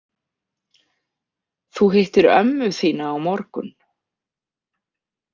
Þú hittir ömmu þína á morgun.